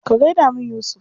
Ka gai da min Yusuf.